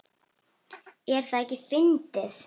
Er það ekki fyndið?